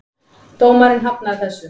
Dómari hafnaði þessu.